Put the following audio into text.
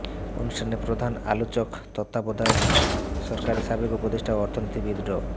অনুষ্ঠানে প্রধান আলোচক তত্ত্বাবধায়ক সরকারের সাবেক উপদেষ্টা ও অর্থনীতিবিদ ড